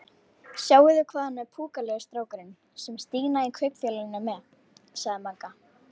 Sjáið þið hvað hann er púkalegur strákurinn sem Stína í Kaupfélaginu er með? sagði Magga.